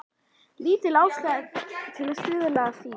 Lítil ástæða til að stuðla að því.